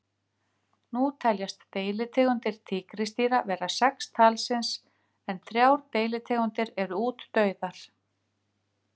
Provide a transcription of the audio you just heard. Nú teljast deilitegundir tígrisdýra vera sex talsins en þrjár deilitegundir eru útdauðar.